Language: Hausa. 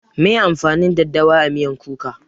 Meye amfanin daɗawa a miyan kuka?